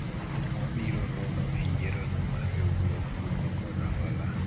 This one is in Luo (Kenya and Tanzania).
Wabiro romo e yiero no mar riwruog kungo kod hola